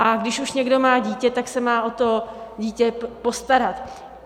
A když už někdo má dítě, tak se má o to dítě postarat.